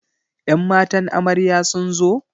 Ƴan matan amarya sunzo?